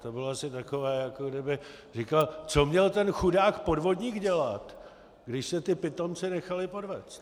To bylo asi takové, jako kdyby říkal: Co měl ten chudák podvodník dělat, když se ti pitomci nechali podvést?